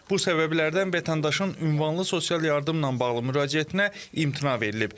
Bu səbəblərdən vətəndaşın ünvanlı sosial yardımla bağlı müraciətinə imtina verilib.